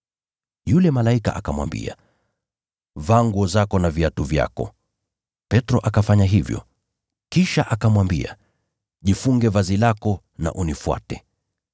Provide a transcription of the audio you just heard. Yule malaika akamwambia, “Vaa nguo zako na viatu vyako.” Petro akafanya hivyo. Kisha akamwambia, “Jifunge vazi lako na unifuate.”